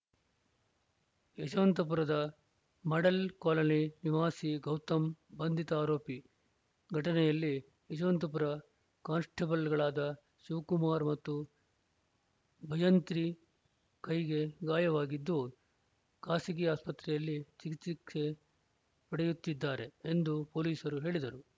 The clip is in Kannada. ಯಶವಂತಪುರದ ಮಾಡೆಲ್‌ ಕಾಲೋನಿ ನಿವಾಸಿ ಗೌತಮ್‌ ಬಂಧಿತ ಆರೋಪಿ ಘಟನೆಯಲ್ಲಿ ಯಶವಂತಪುರ ಕಾನ್‌ಸ್ಟೇಬಲ್‌ಗಳಾದ ಶಿವಕುಮಾರ್‌ ಮತ್ತು ಭಜಂತ್ರಿ ಕೈಗೆ ಗಾಯವಾಗಿದ್ದು ಖಾಸಗಿ ಆಸ್ಪತ್ರೆಯಲ್ಲಿ ಚಿಕಿತ್ಸೆ ಪಡೆಯುತ್ತಿದ್ದಾರೆ ಎಂದು ಪೊಲೀಸರು ಹೇಳಿದರು